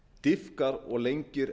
dýpkar og lengir